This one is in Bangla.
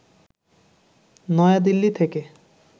নয়াদিল্লি থেকে